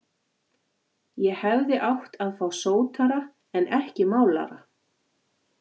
Ég hefði átt að fá sótara en ekki málara.